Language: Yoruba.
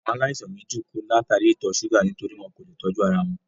Àwọn aláìsàn méjì kú látàríi ìtọ̀ ṣúgà nítorí wọn kò leè tọ́jú ara wọn